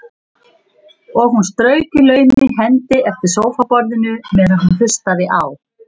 Og hún strauk í laumi hendi eftir sófaborðinu meðan hún hlustaði á